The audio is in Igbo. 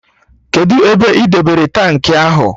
Kedụ ebe ị debere tankị ahụ?